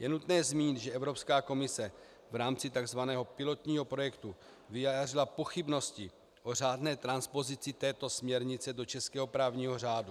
Je nutné zmínit, že Evropská komise v rámci tzv. pilotního projektu vyjádřila pochybnosti o řádné transpozici této směrnice do českého právního řádu.